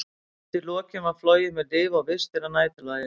Undir lokin var flogið með lyf og vistir að næturlagi, og var